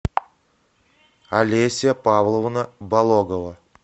олеся павловна бологова